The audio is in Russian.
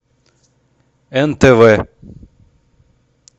нтв